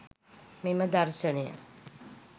මෙම දර්ශනය